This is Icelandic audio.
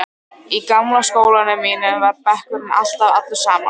Í gamla skólanum mínum var bekkurinn alltaf allur saman.